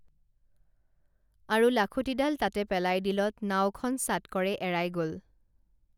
আৰু লাখুঁটিডাল তাতে পেলাই দিলত নাওখন চাটকৰে এৰাই গল